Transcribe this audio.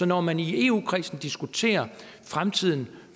når man i eu kredsen diskuterer fremtiden